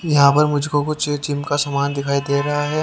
यहां पर मुझको कुछ जिम का सामान दिखाई दे रहे हैं।